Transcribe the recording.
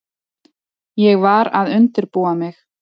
Ég var að undirbúa mig.